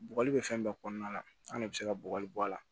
Bɔgɔli bɛ fɛn bɛɛ kɔnɔna la an de bɛ se ka bɔgɔli bɔ a la